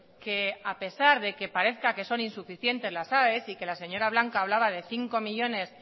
que a pesar de que parezca que son insuficientes las aes y que la señora blanco hablaba de cinco millónes